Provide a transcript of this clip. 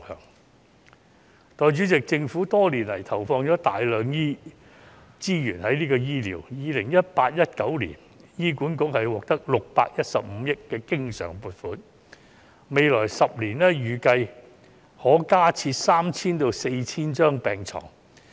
代理主席，政府多年來在醫療方面投放大量資源，在 2018-2019 年度，醫院管理局獲得615億元的經常性撥款，未來10年預計可加設 3,000 至 4,000 張病床。